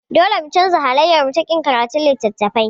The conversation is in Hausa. Dole mu canza halayyarmu ta ƙin karatun littattafai.